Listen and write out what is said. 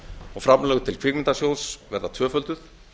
og framlög til kvikmyndasjóðs verða tvöfölduð